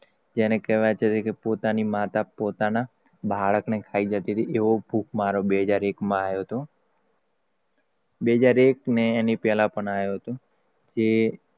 જેને કેવાય છે. પોતાની મોટા પોતાના બાળકને ખાઈ જતી હતી એવો ભૂક મારો બે હજાર એક માં આયો હતો બે હજાર એક ને એની પહેલા પણ આયો હતો. તે